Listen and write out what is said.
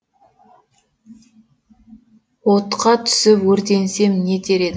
отқа түсіп өртенсем не етер едің